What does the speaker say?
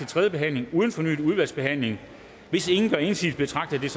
tredje behandling uden fornyet udvalgsbehandling hvis ingen gør indsigelse betragter jeg